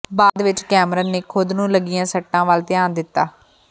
ਬਾਅਦ ਵਿਚ ਕੈਮਰਨ ਨੇ ਖੁਦ ਨੂੰ ਲੱਗੀਆਂ ਸੱਟਾਂ ਵੱਲ ਧਿਆਨ ਦਿੱਤਾ